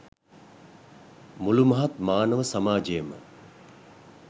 මුළු මහත් මානව සමාජයම